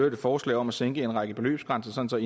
et forslag om at sænke en række beløbsgrænser